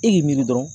E y'i miiri dɔrɔn